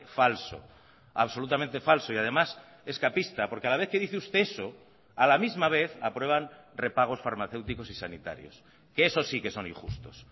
falso absolutamente falso y además escapista porque a la vez que dice usted eso a la misma vez aprueban repagos farmacéuticos y sanitarios que eso sí que son injustos